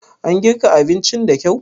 An girka abincin da kyau?